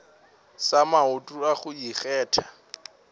sa maoto a go ikgetha